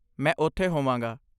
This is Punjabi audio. ਮੈਂ ਉਥੇ ਹੋਵਾਂਗਾ।